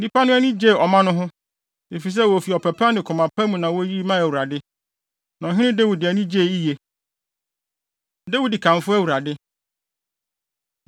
Nnipa no ani gyee ɔma no ho, efisɛ wofi ɔpɛ pa ne koma pa mu na woyiyi maa Awurade, na Ɔhene Dawid ani gyee yiye. Dawid Kamfo Awurade